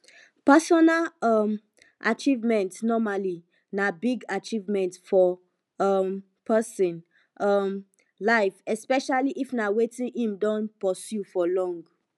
personal um achievement normally na big achievement for um person um life especially if na wetin im don pursue for long